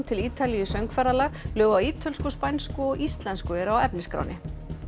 til Ítalíu í söngferðalag lög á ítölsku spænsku og íslensku eru á efnisskránni